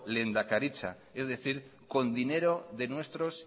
lehendakaritza es decir con dinero de nuestros